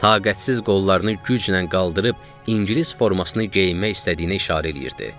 Taqətsiz qollarını güclə qaldırıb, İngilis formasını geyinmək istədiyinə işarə eləyirdi.